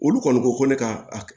Olu kɔni ko ko ne ka a